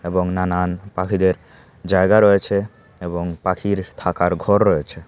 এবং নানান পাখিদের জায়গা রয়েছে এবং পাখির থাকার ঘর রয়েছে।